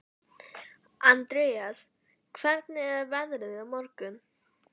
Andreas, hvernig er veðrið á morgun?